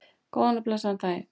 Góðan og blessaðan daginn!